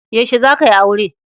Yaushe za ka yi aure?